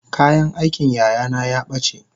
Kayan askin yayana yabace